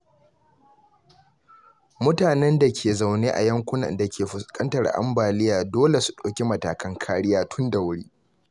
Mutanen da ke zaune a yankunan da ke fuskantar ambaliya dole su ɗauki matakan kariya tun da wuri.